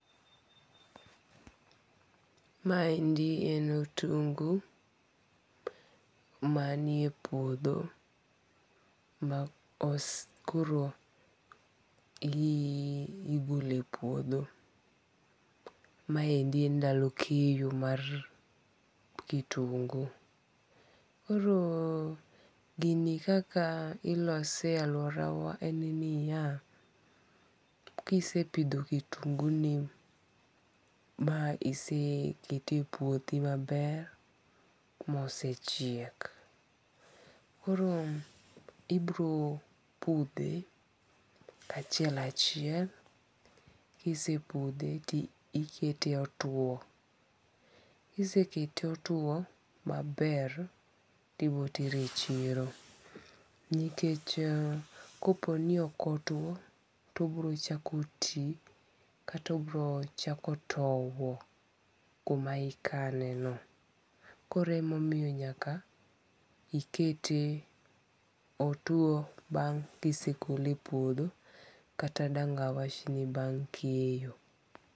Ma endi en otungu mani e puodho ma koro igole puodho. Maendi ndalo keyo mar kitungu. Koro gini kaka ilose e aluora wa en niya. Kisepidho kitungu ni ma ise kete e puothi maber mosechiek. Koro ibiro pudhe kachiel achiel. Kise pudhe ti ikete otwo. Kise kete otwo maber, tibotere e chiro. Nikech kopo ni ok otuo tobiro chako ti kata obiro chako towo kuma ikane no. Koremomiyo nyaka ikete otuo bang' kisegole puodho kata dang' awach ni bang' keyo.